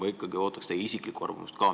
Aga ikkagi, ma ootan teie isiklikku arvamust ka.